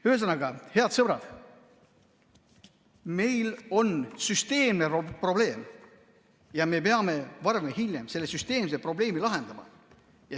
Ühesõnaga, head sõbrad, meil on süsteemne probleem ja me peame varem või hiljem selle süsteemse probleemi lahendama.